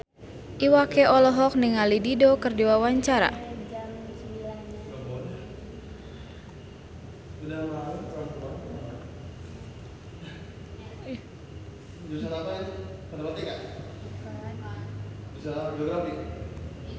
Iwa K olohok ningali Dido keur diwawancara